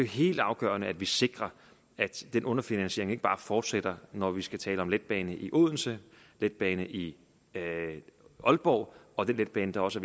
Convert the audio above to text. helt afgørende at vi sikrer at den underfinansiering ikke bare fortsætter når vi skal tale om letbane i odense letbane i aalborg og den letbane der også